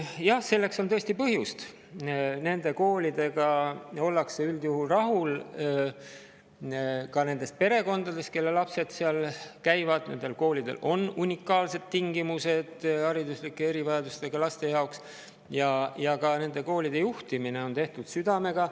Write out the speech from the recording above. Jah, selleks on tõesti põhjust: nende koolidega ollakse üldjuhul rahul, ka nendes perekondades, kelle lapsed seal käivad, nendel koolidel on hariduslike erivajadustega laste jaoks unikaalsed tingimused ja neid koole juhitakse südamega.